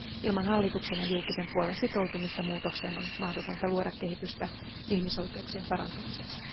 Ilman hallituksen ja julkisen puolen sitoutumista muutokseen on mahdotonta luoda kehitystä ihmisoikeuksien parantamiseksi.